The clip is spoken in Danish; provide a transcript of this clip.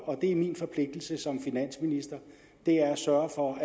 og det er min forpligtelse som finansminister er at sørge for